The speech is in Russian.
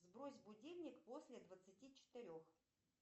сбрось будильник после двадцати четырех